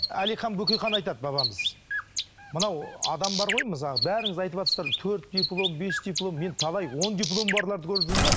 әлихан бөкейхан айтады бабамыз мынау адам бар ғой мысалы бәріңіз айтыватырсыздар төрт диплом бес диплом мен талай он дипломы барларды көріп жүрмін де